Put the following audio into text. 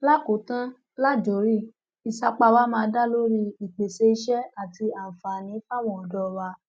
lákòótán lájorí ìsapá wa máa dá lórí ìpèsè iṣẹ àti àǹfààní fáwọn ọdọ wa